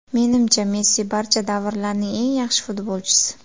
Menimcha Messi barcha davrlarning eng yaxshi futbolchisi.